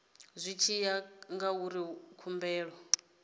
zwi tshi ya ngauri khumbelo